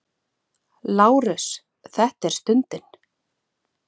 LÁRUS: Þetta er stundin!